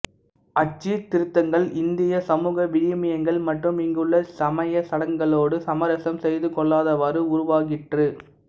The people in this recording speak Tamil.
அச்சீர்த்திருத்தங்கள் இந்தியச் சமூக விழுமியங்கள் மற்றும் இங்குள்ள சமயச் சடங்குகளோடு சமரசம் செய்துகொள்ளாதவாறு உருவாகிற்று